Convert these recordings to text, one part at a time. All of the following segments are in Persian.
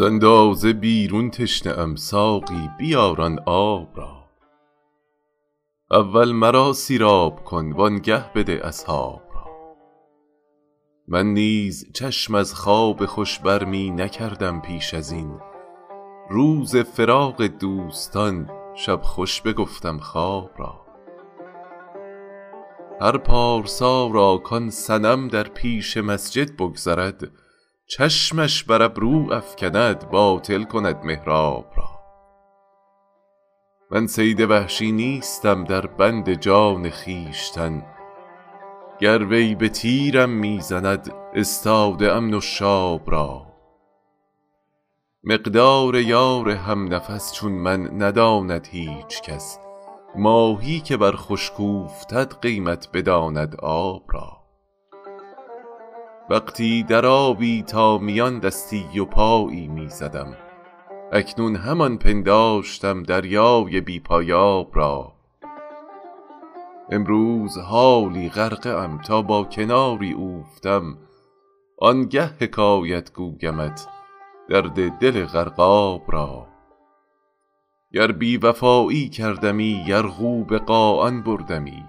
ز اندازه بیرون تشنه ام ساقی بیار آن آب را اول مرا سیراب کن وآنگه بده اصحاب را من نیز چشم از خواب خوش بر می نکردم پیش از این روز فراق دوستان شب خوش بگفتم خواب را هر پارسا را کآن صنم در پیش مسجد بگذرد چشمش بر ابرو افکند باطل کند محراب را من صید وحشی نیستم در بند جان خویشتن گر وی به تیرم می زند استاده ام نشاب را مقدار یار هم نفس چون من نداند هیچ کس ماهی که بر خشک اوفتد قیمت بداند آب را وقتی در آبی تا میان دستی و پایی می زدم اکنون همان پنداشتم دریای بی پایاب را امروز حالا غرقه ام تا با کناری اوفتم آنگه حکایت گویمت درد دل غرقاب را گر بی وفایی کردمی یرغو به قاآن بردمی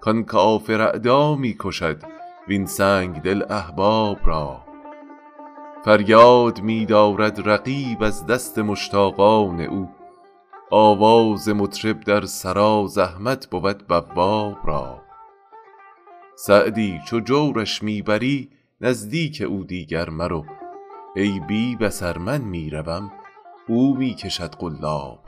کآن کافر اعدا می کشد وین سنگدل احباب را فریاد می دارد رقیب از دست مشتاقان او آواز مطرب در سرا زحمت بود بواب را سعدی چو جورش می بری نزدیک او دیگر مرو ای بی بصر من می روم او می کشد قلاب را